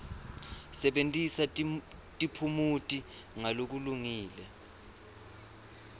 sebentisa tiphumuti ngalokulungile